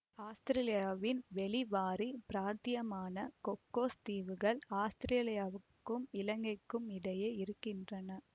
ஆஸ்திரேலியாவின் வெளிவாரிப் பிராத்தியமான கொக்கோஸ் தீவுகள் ஆஸ்திரேலியாவுக்கும் இலங்கைக்கும் இடையே இருக்கின்றன